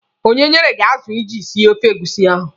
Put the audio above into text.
Onye nyere gị azụ iji sie ofe egusi ahụ?